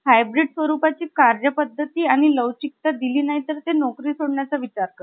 hybrid स्वरूपाची कार्यपद्धती आणि लवचिकता दिली नाही तर ते नोकरी सोडण्याचा विचार करतात .